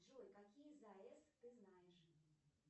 джой какие заэс ты знаешь